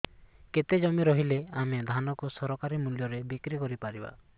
କେତେ ଜମି ରହିଲେ ଆମେ ଧାନ କୁ ସରକାରୀ ମୂଲ୍ଯରେ ବିକ୍ରି କରିପାରିବା